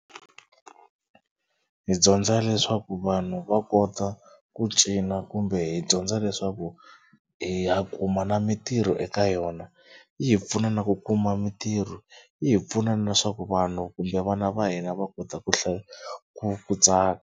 Hi dyondza leswaku vanhu va kota ku cina kumbe hi dyondza leswaku hi ya kuma na mitirho eka yona. Yi hi pfuna na ku kuma mitirho, yi hi pfuna na swa ku vanhu kumbe vana va hina va kota ku ku ku .